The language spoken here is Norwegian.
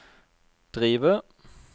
drive